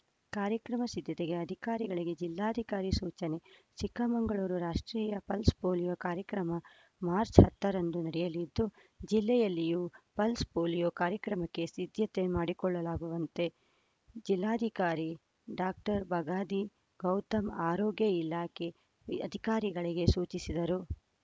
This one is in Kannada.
ಕಾರ್ಯಕ್ರಮ ಸಿದ್ಧತೆಗೆ ಅಧಿಕಾರಿಗಳಿಗೆ ಜಿಲ್ಲಾಧಿಕಾರಿ ಸೂಚನೆ ಚಿಕ್ಕಮಗಳೂರು ರಾಷ್ಟ್ರೀಯ ಪಲ್ಸ್‌ ಪೋಲಿಯೋ ಕಾರ್ಯಕ್ರಮ ಮಾರ್ಚ್ ಹತ್ತರಂದು ನಡೆಯಲಿದ್ದು ಜಿಲ್ಲೆಯಲ್ಲಿಯೂ ಪಲ್ಸ್‌ ಪೋಲಿಯೋ ಕಾರ್ಯಕ್ರಮಕ್ಕೆ ಸಿದ್ಧತೆ ಮಾಡಿಕೊಳ್ಳಲಾಗುವಂತೆ ಜಿಲ್ಲಾಧಿಕಾರಿ ಡಾಕ್ಟರ್ ಬಗಾದಿ ಗೌತಮ್‌ ಆರೋಗ್ಯ ಇಲಾಖೆಯ ಅಧಿಕಾರಿಗಳಿಗೆ ಸೂಚಿಸಿದರು